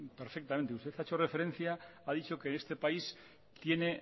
usted ha hecho referencia ha dicho que este país tiene